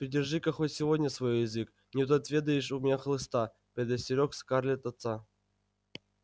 придержи-ка хоть сегодня свой язык не то отведаешь у меня хлыста предостерёг скарлет отца